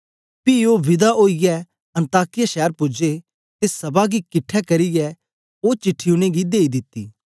पी ओ विदा ओईयै अन्ताकिया शैर पूजे ते सभा गी किट्ठे करियै ओ चिट्ठी उनेंगी देई दिती